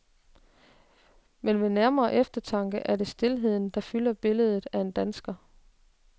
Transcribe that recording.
Men ved nærmere eftertanke er det stilheden, der fylder billedet at en dansker.